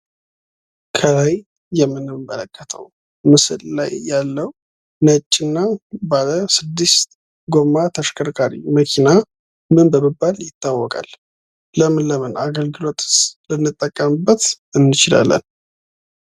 ከላይ የምንመለከተው ምስለ ላይ ያለው ነጭ እና ባለስድስት ጎማ ተሽከርካሪ መኪና ምን በመባል ይታወቃል? ለምን ለምንስ አገልግሎት ልንጠቀምበት እንችላለን?